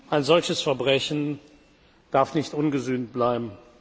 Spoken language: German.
Ein solches Verbrechen darf nicht ungesühnt bleiben.